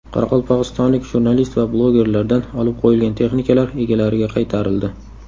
Qoraqalpog‘istonlik jurnalist va blogerlardan olib qo‘yilgan texnikalar egalariga qaytarildi.